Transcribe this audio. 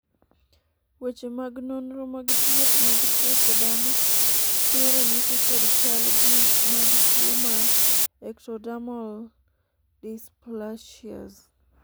weche mag nonro mag thieth mag tuoche dhano chiwo ranyisi kod chal gi mag tuo mar ectodermal dysplasias